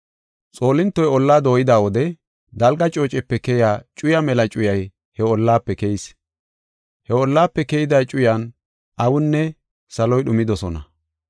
Xoolintoy ollaa dooyida wode dalga coocepe keyiya cuyaa mela cuyay he ollaafe keyis. He ollaafe keyida cuyan awinne saloy dhumidosona.